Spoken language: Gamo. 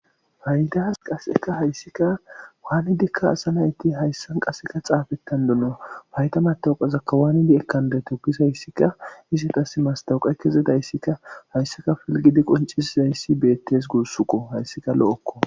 Paydas qaseka hayssika waanidikka asa nayti hayssan qaseka xaafettanduno payda matawuqazakka waanidi ekandeto gizahayssikka istas mastawuqa kezedayssikka hayssaka pilgidi qoncisizayssi beettes gussukko hayssika lo7okko.